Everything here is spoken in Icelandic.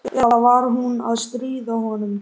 Eða var hún að stríða honum?